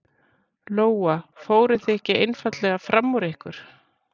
Lóa: Fóruð þið ekki einfaldlega fram úr ykkur?